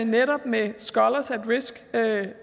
netop med scolars at risk